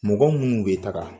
Mɔgɔ minnu bɛ taga.